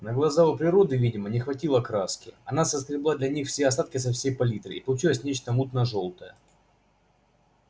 на глаза у природы видимо не хватило краски она соскребла для них все остатки со своей палитры и получилось нечто мутно жёлтое